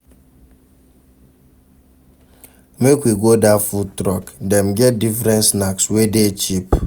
Make we go dat food truck, dem get different snacks wey dey cheap.